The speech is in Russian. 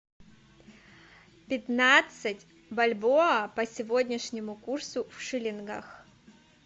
пятнадцать бальбоа по сегодняшнему курсу в шиллингах